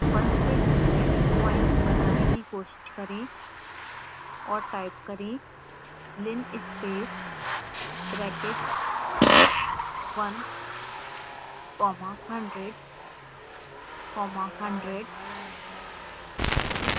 1 से 100 से 100 प्वाइंट्स बनाने की कोशिश करें और टाइप करें linspace brackets 1 comma 100 comma 100